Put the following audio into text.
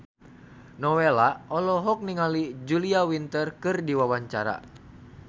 Nowela olohok ningali Julia Winter keur diwawancara